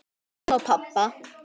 Og mömmu og pabba.